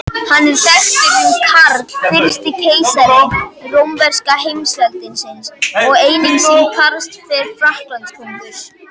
Hann er þekktur sem Karl fyrsti keisari rómverska heimsveldisins og einnig sem Karl fyrsti Frakklandskonungur.